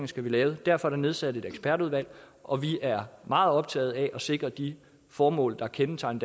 skal lave derfor er der nedsat et ekspertudvalg og vi er meget optagede af at sikre de formål der kendetegner